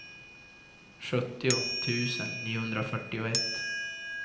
sjuttio tusen niohundrafyrtioett